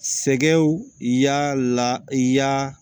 Sɛgɛw y'a la i y'a